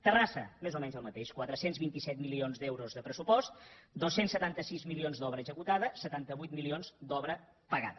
terrassa més o menys el mateix quatre cents i vint set milions d’euros de pressupost dos cents i setanta sis milions d’obra executada setanta vuit milions d’obra pagada